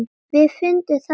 Við fundum það í